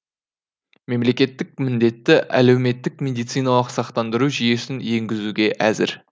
мемлекет міндетті әлеуметтік медициналық сақтандыру жүйесін енгізуге әзір